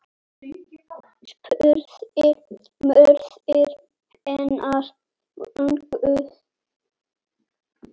spurði móðir hennar vongóð.